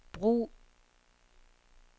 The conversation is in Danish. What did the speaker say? brug